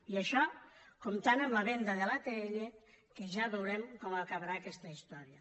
i això comptant amb la venda de l’atll que ja veurem com acabarà aquesta història